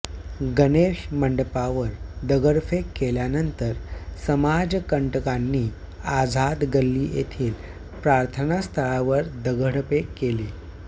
गणेश मंडपावर दगडफेक केल्यानंतर समाजकंटकांनी आझाद गल्ली येथील प्रार्थनास्थळावर दगडफेक केली